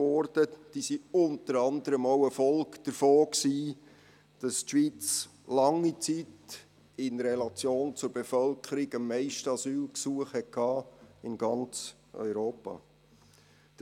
Diese waren unter anderem auch eine Folge davon, dass die Schweiz während langer Zeit in Relation zur Bevölkerung am meisten Asylgesuche in ganz Europa hatte.